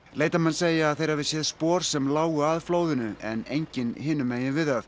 leitarmenn segja að þeir hafi séð spor sem lágu að flóðinu en engin hinum megin við það